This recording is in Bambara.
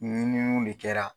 ɲininiw de kɛra.